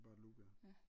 Bare et loop ja